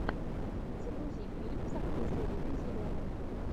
загрузи фильм с актрисой риной зеленой